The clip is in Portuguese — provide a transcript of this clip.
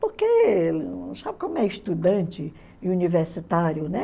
Porque, sabe como é estudante e universitário, né?